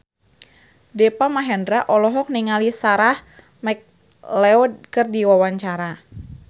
Deva Mahendra olohok ningali Sarah McLeod keur diwawancara